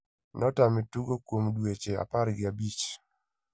notame tugo kuom dueche apar gi abich.